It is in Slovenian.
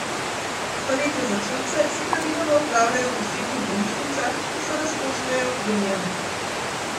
Storitve za tujce se praviloma opravljajo v posebnih bolnišnicah, ki so razkošneje opremljene.